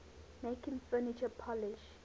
making furniture polish